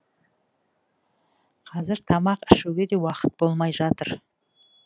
қазір тамақ ішуге де уақыт болмай жатыр